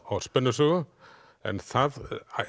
á spennusögu en það